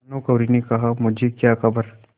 भानुकुँवरि ने कहामुझे क्या खबर